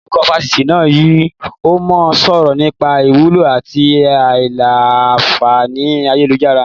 Olùkọ́ Fásitì náà yìí ó mọ sọ̀rọ̀ nípa ìwúlò àti a ìlà-a fàáni ayélujára.